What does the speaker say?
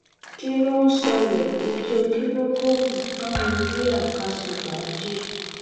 kí n ló ń ṣẹlẹ̀ ijó kìlógóbùbù ká mú bíà ká ṣe fàájì